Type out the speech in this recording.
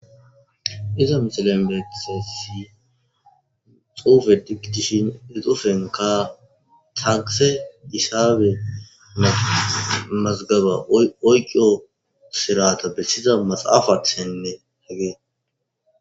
Iza misilen bethe si xuufe digtishin ixufenka takise isabe mazgaba oyqo sirata bessiza maxaafaththenne hegee